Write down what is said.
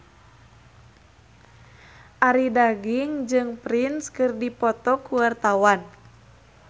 Arie Daginks jeung Prince keur dipoto ku wartawan